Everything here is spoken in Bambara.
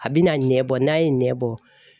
A bɛna ɲɛbɔ n'a ye ɲɛ bɔ.